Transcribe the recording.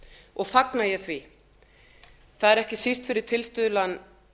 og fagna ég því það er ekki síst fyrir tilstuðlan